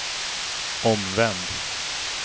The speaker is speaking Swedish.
omvänd